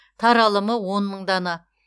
таралымы он мың дана